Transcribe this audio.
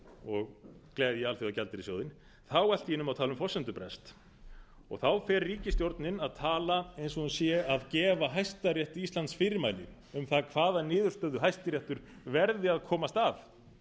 og gleðja alþjóðagjaldeyrissjóðinn þá allt í einu má tala um forsendubrest þá fer ríkisstjórnin að tala eins og hún sé að gefa hæstarétti íslands fyrirmæli um það hvaða niðurstöðu hæstiréttur verði að komast að